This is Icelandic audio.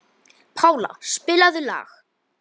Pála, spilaðu lag.